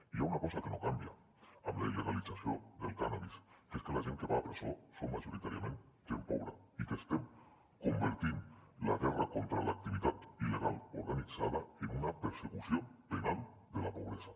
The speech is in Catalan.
i hi ha una cosa que no canvia amb la il·legalització del cànnabis que és que la gent que va a presó són majoritàriament gent pobra i que estem convertint la guerra contra l’activitat il·legal organitzada en una persecució penal de la pobresa